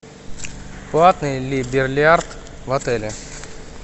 платный ли бильярд в отеле